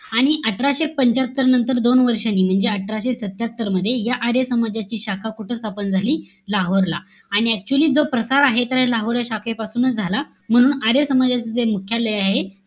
आणि अठराशे पंच्यात्तर नंतर दोन वर्षांनी, म्हणजे अठराशे सत्त्यात्तर मध्ये, या आर्य समाजाची शाखा कुठं स्थापन झाली? लाहोरला. आणि actually जो प्रसार आहे. तर या लाहोर या शाखेपासूनच झाला. म्हणून आर्य समाजचे जे मुख्यालय आहे.